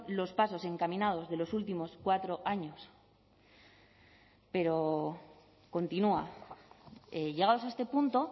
los pasos encaminados de los últimos cuatro años pero continúa llegados a este punto